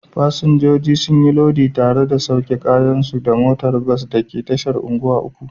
Fasinjoji sun yi lodi tare da sauke kayansu daga motar bas da ke tashar unguwa uku.